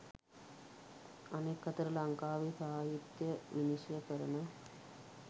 අනෙක් අතට ලංකාවේ සාහිත්‍ය විනිශ්චය කරන